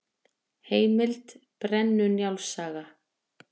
Heimild: Brennu-Njáls saga.